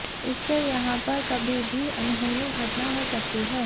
इससे यहां पर कभी भी अनहोनी घटना हो सकती है